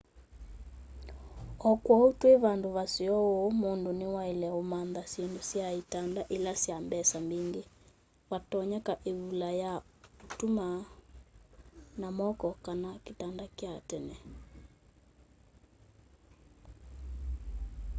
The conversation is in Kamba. o kwou twi vandu vaseo uu mundu niwaile umantha syindu sya itanda ila sya mbesa mbingi vatonyeka ivula ya utuma na moko kana kitanda kya tene